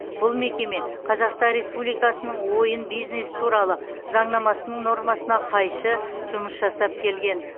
бұл мекеме қазақстан республикасының ойын бизнесі туралы заңнамасының нормасына қайшы жұмыс жасап келген